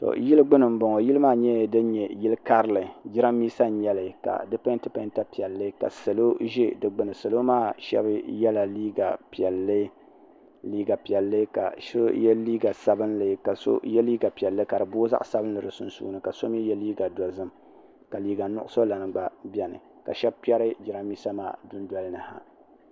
yili gbani n bɔŋɔ yili nyɛla din nyɛ yili karili jarinibɛsa n nyɛli ka di pɛntɛ pɛntɛ piɛli ka salo ʒɛ di gbani salo maa shɛbi yɛla liga piɛli ka so yɛ liga sabinli ka so yɛ liga piɛli kadi boi di sun sunsuuni ka so yɛ liga dozim ka liga nuɣisu gba bɛni ka shɛbi kpɛri jarinibɛsa maa do doliha